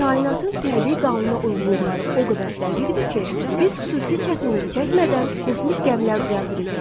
Kainatın təbii qanunauyğunluqları o qədər dəqiqdir ki, biz xüsusi çətinlik çəkmədən kosmik gəmilər düzəldirik.